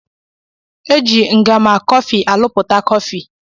Eji ngama kofi aluputa kofi.